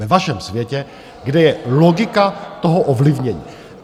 Ve vašem světě, kde je logika toho ovlivnění.